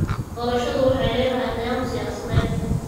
Doorashadu waxay lahayd qiyam siyaasadeed.